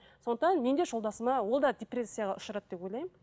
сондықтан мен де жолдасыма ол да депрессияға ұшырады деп ойлаймын